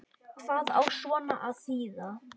Hvað á svona að þýða